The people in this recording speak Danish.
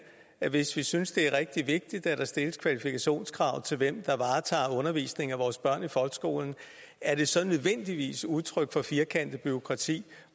hvis vi synes det er rigtig vigtigt at der stilles kvalifikationskrav til dem der varetager undervisningen af vores børn i folkeskolen er det så nødvendigvis et udtryk for firkantet bureaukrati